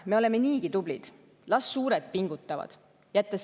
Me oleme niigi tublid, las suured pingutavad!